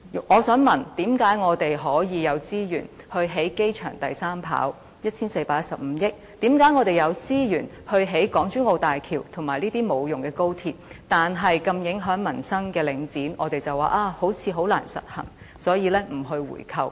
我想問，為何我們可以有資源以 1,415 億元興建機場第三跑道，為何我們有資源興建港珠澳大橋和無用的高鐵，但如此影響民生的領展，我們卻說似乎十分難以實行，所以不進行回購？